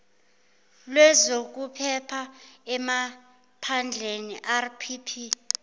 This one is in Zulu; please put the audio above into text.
lwezokuphepha emaphandleni rpp